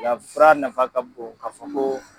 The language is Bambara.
fura nafa ka bon ka fɔ ko